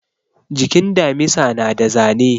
Jikin damisa na da zane